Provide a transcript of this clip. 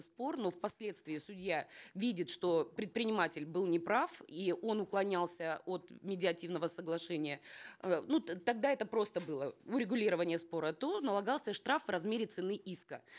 спор но впоследствии судья видит что предприниматель был неправ и он уклонялся от медиативного соглашения э ну тогда это просто было урегулирование спора то налагался штраф в размере цены иска